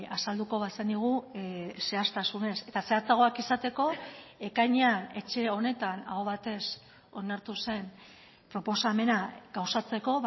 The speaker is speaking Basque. azalduko bazenigu zehaztasunez eta zehatzagoak izateko ekainean etxe honetan aho batez onartu zen proposamena gauzatzeko